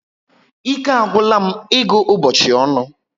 Ike agwula m ịgụ ụbọchị ọnụ